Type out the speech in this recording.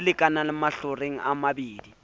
a lekanang mahlakoreng a mabedi